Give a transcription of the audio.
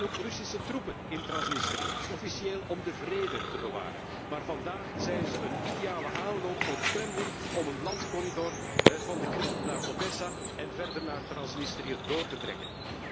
Er zijn ook Russische troepen in Transnistrië, officieel om de vrede te bewaren, maar vandaag zijn ze een ideale aanloop voor het Kremlin om een landcorridor van de Krim naar Odessa en verder naar Transnistrië door te trekken.